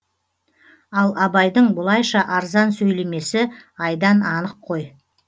ал абайдың бұлайша арзан сөйлемесі айдан анық қой